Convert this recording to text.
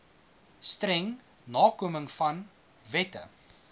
streng nakomingvan wette